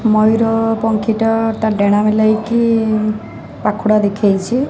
ମୟୁର ପଂକ୍ଷୀଟା ତା ଡେଣା ମେଲେଇ କି ପାଖୁଡ଼ା ଦେଖେଇଚି।